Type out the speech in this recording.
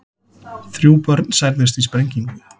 Þrjú börn særðust í sprengingu